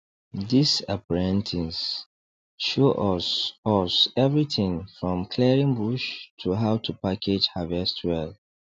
this apprentice show us us everything from clearing bush to how to package harvest well